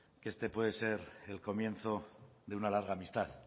que este puede ser el comienzo de una larga amistad